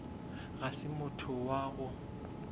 ga se motho wa go